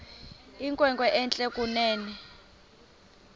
inkwenkwe entle kunene